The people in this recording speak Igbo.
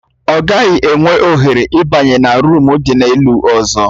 Ọ gaghị enwe ohere ịbanye na ruumu dị n'elu ọzọ